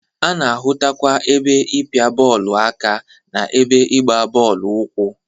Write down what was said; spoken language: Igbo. A na-ahụtakwa ebe ịpịa bọọlụ aka na ebe ịgba bọọlụ ụkwụ.